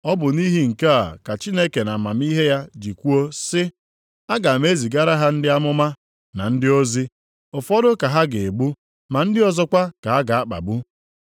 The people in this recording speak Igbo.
Ọ bụ nʼihi nke a ka Chineke nʼamamihe ya ji kwuo sị, Aga m ezigara ha ndị amụma na ndị ozi, ụfọdụ ka ha ga-egbu ma ndị ọzọkwa ka ha ga-akpagbu.